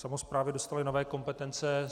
Samosprávy dostaly nové kompetence.